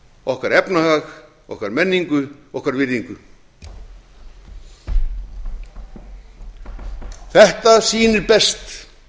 okkar efnahag okkar menningu okkar virðingu þetta sýnir best